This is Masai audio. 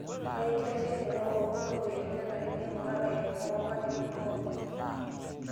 Ore enkitasheikinoto orkurt omoyiaritin nenare neing'ura lairemok toonkatitin pookin.